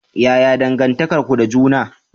Yaya dangantakar ku da juna?